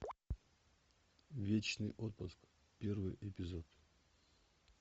вечный отпуск первый эпизод